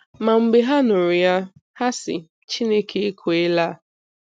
Ma mgbe ha nụrụ ya, ha sị Chineke ekwela.